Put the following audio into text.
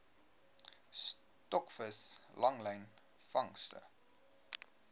stokvis langlyn vangste